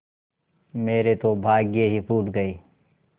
मेरे तो भाग्य ही फूट गये